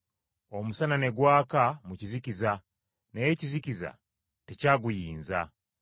Omusana ne gwaka mu kizikiza, naye ekizikiza tekyaguyinza.